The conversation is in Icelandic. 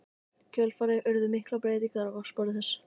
kjölfarið urðu miklar breytingar á vatnsborði þess.